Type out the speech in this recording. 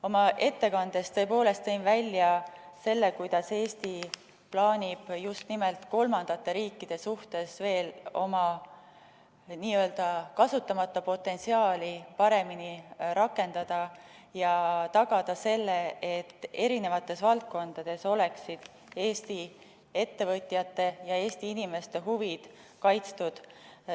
Oma ettekandes tõepoolest tõin välja selle, kuidas Eesti plaanib just nimelt kolmandate riikide suhtes veel oma kasutamata potentsiaali paremini rakendada ja tagada selle, et eri valdkondades oleksid Eesti ettevõtjate ja Eesti inimeste huvid kaitstud.